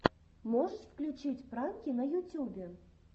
можешь включить пранки на ютюбе